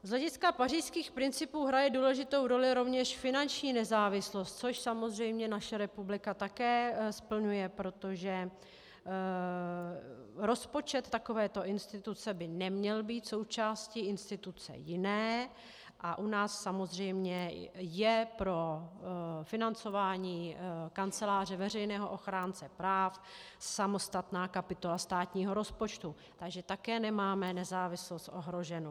Z hlediska pařížských principů hraje důležitou roli rovněž finanční nezávislost, což samozřejmě naše republika také splňuje, protože rozpočet takovéto instituce by neměl být součástí instituce jiné, a u nás samozřejmě je pro financování Kanceláře veřejného ochránce práv samostatná kapitola státního rozpočtu, takže také nemáme nezávislost ohroženu.